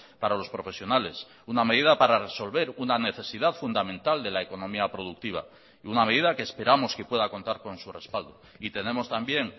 para los profesionales una medida para resolver una necesidad fundamental de la economía productiva y una medida que esperamos que pueda contar con su respaldo y tenemos también